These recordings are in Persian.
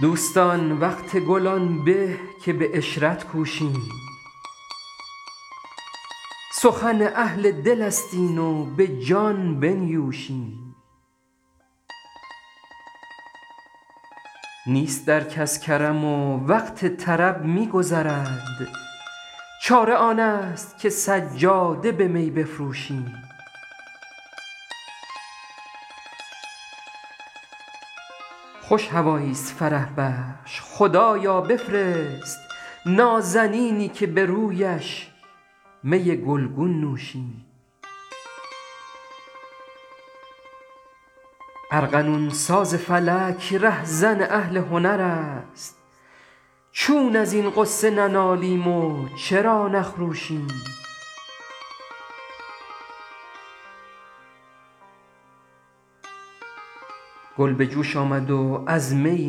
دوستان وقت گل آن به که به عشرت کوشیم سخن اهل دل است این و به جان بنیوشیم نیست در کس کرم و وقت طرب می گذرد چاره آن است که سجاده به می بفروشیم خوش هوایی ست فرح بخش خدایا بفرست نازنینی که به رویش می گل گون نوشیم ارغنون ساز فلک ره زن اهل هنر است چون از این غصه ننالیم و چرا نخروشیم گل به جوش آمد و از می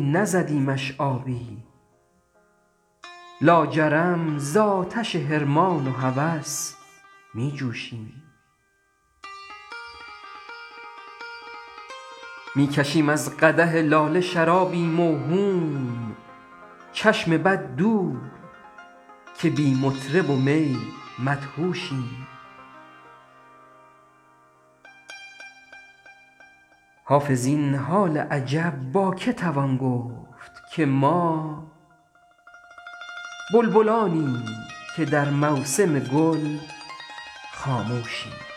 نزدیمش آبی لاجرم زآتش حرمان و هوس می جوشیم می کشیم از قدح لاله شرابی موهوم چشم بد دور که بی مطرب و می مدهوشیم حافظ این حال عجب با که توان گفت که ما بلبلانیم که در موسم گل خاموشیم